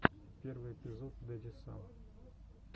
первый эпизод дэдисан